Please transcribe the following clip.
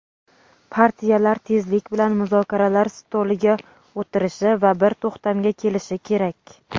Partiyalar tezlik bilan muzokaralar stoliga o‘tirishi va bir to‘xtamga kelishi kerak.